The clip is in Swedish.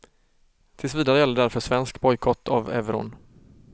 Tills vidare gäller därför svensk bojkott av euron.